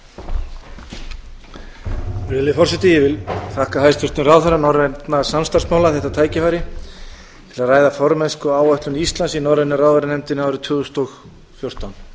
virðulegi forseti ég vil þakka hæstvirtum ráðherra norrænna samstarfsmála þetta tækifæri til að ræða formennskuáætlun íslands í norrænu ráðherranefndinni árið tvö þúsund og fjórtán